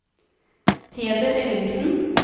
Peder Ellingsen